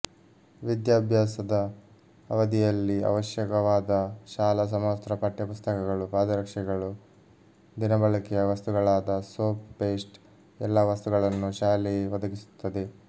ವಿದ್ಯಾಭ್ಯಾಸದ ಅವಧಿಯಲ್ಲಿ ಅವಶ್ಯಕವಾದ ಶಾಲಾ ಸಮವಸ್ತ್ರ ಪಠ್ಯಪುಸ್ತಕಗಳು ಪಾದರಕ್ಷೆಗಳು ದಿನಬಳಕೆಯ ವಸ್ತುಗಳಾದ ಸೋಪ್ ಪೇಷ್ಟ್ ಎಲ್ಲಾ ವಸ್ತುಗಳನ್ನು ಶಾಲೆಯೆ ಒದಗಿಸುತ್ತದೆ